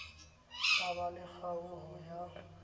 ba ba le kgaoho ya